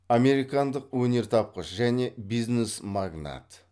американдық өнертапқыш және бизнес магнат